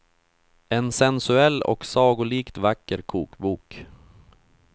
En sensuell och sagolikt vacker kokbok.